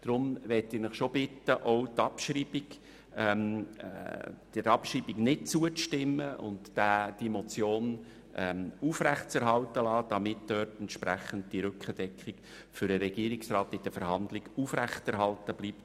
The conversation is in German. Deshalb bitte ich Sie auch, der Abschreibung nicht zuzustimmen und die Motion aufrechtzuerhalten, damit mit ihr die Rückendeckung für den Regierungsrat in den Verhandlungen gewährleistet bleibt.